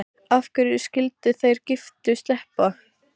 Af hverju skyldu þeir giftu sleppa?